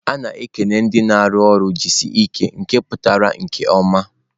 A na-ekele ndị na-arụ ọrụ"jisike nke pụtara nke ọma."